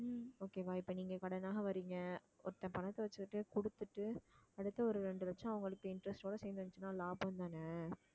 okay வா இப்ப நீங்க கடன் வாங்க வர்றீங்க ஒருத்தன் பணத்தை வச்சுக்கிட்டே கொடுத்துட்டு அடுத்து ஒரு ரெண்டு லட்சம் அவங்களுக்கு interest ஓட சேர்ந்து வந்துச்சுன்னா லாபம் தானே